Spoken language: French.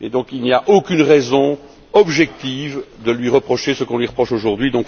Il n'y a donc aucune raison objective de lui reprocher ce qu'on lui reproche aujourd'hui.